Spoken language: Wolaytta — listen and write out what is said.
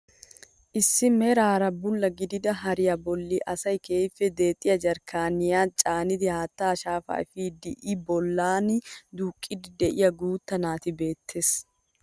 Issi meraara bulla gidida hariyaa bolli asay keehippe deexxiyaa jarkkaaniyaa caanidi haattaa shaafaa epiidi i bollan duuqqiidi de'iyaa guutta naati beettees.